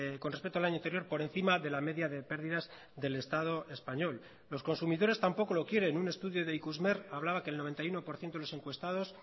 con respecto al año anterior por encima de la media de pérdidas del estado español los consumidores tampoco lo quieren un estudio de ikusmer hablaba que el noventa y uno por ciento de los encuestados